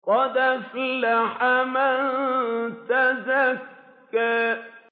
قَدْ أَفْلَحَ مَن تَزَكَّىٰ